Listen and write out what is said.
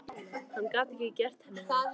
Hann gat ekki gert henni það.